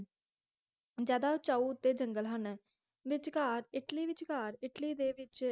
ਜ਼ਿਆਦਾ ਉਚਾਓ ਉਤੇ ਜੰਗਲ ਹਨ ਵਿਚਕਾਰ ਇੱਟਲੀ ਵਿਚਕਾਰ ਇੱਟਲੀ ਦੇ ਵਿਚ